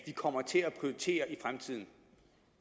vi kommer til at prioritere i fremtiden